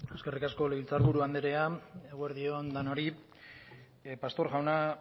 eskerrik asko legebiltzar buru andrea eguerdi on denoi pastor jauna